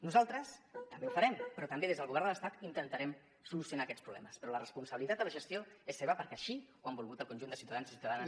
nosaltres també ho farem però també des del govern de l’estat intentarem solucionar aquests problemes però la responsabilitat de la gestió és seva perquè així ho han volgut el conjunt de ciutadans i ciutadanes